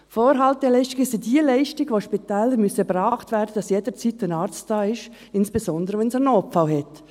Vorhalteleistungen sind jene Leistungen, welche von Spitälern erbracht werden müssen, damit jederzeit ein Arzt da ist, insbesondere, wenn ein Notfall vorliegt.